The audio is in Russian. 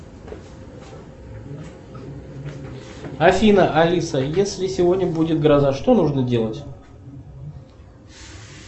афина алиса если сегодня будет гроза что нужно делать